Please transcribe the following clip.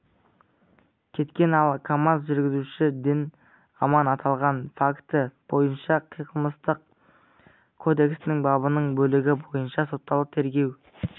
кеткен ал камаз жүргізушісі дін-аман аталған факті бойынша қылмыстық кодексінің бабының бөлігі бойынша соталды тергеу